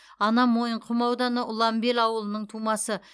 анам мойынқұм ауданы ұланбел ауылының тумасы